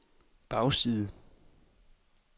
bagside